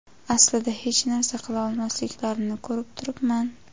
aslida hech narsa qila olmasliklarini ko‘rib turibman.